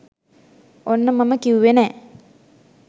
ඔන්න මම කිව්වෙ නෑ